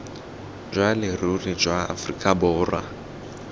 jwa leruri jwa aforika borwa